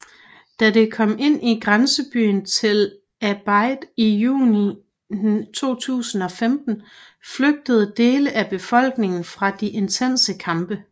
Da det kom ind i grænsebyen Tell Abyad i juni 2015 flygtede dele af befolkningen fra de intense kampe